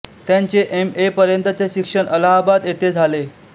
त्यांचे M A पर्यंतचे शिक्षण अलाहाबाद येथे झाले